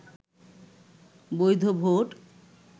বৈধ ভোট